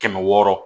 Kɛmɛ wɔɔrɔ